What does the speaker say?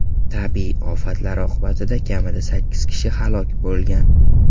Tabiiy ofatlar oqibatida kamida sakkiz kishi halok bo‘lgan.